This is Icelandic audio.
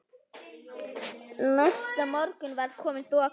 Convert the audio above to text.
Næsta morgun var komin þoka.